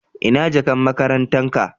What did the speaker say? Ina jakan makarantan ka?.